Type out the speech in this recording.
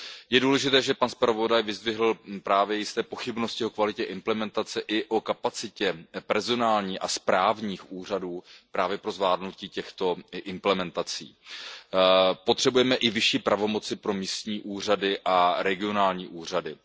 Je důležité, že pan zpravodaj vyzdvihl právě jisté pochybnosti o kvalitě implementace i o kapacitě personální a kapacitě správních úřadů právě pro zvládnutí těchto implementací. Potřebujeme i vyšší pravomoci pro místní úřady a regionální úřady.